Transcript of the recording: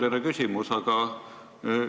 Aitäh, härra juhataja!